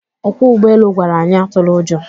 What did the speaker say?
Ọkwọ ụgbọelu gwara anyị atụla ụjọ